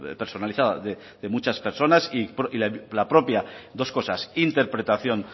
personalizada de muchas personas y la propia dos cosas interpretación